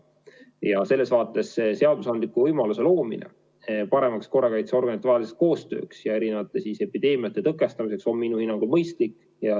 Ja selles vaates on seadusandliku võimaluse loomine paremaks korrakaitseorganitevaheliseks koostööks ja erinevate epideemiate tõkestamiseks minu hinnangul mõistlik.